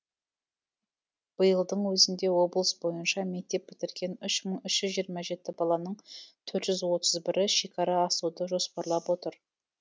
биылдың өзінде облыс бойынша мектеп бітірген үш мың үш жүз жиырма жеті баланың төрт жүз отыз бірі шекара асуды жоспарлап отыр